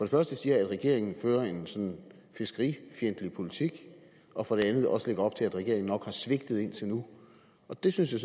første siger at regeringen fører en sådan fiskerifjendtlig politik og for det andet også lægger op til at regeringen nok har svigtet indtil nu og det synes jeg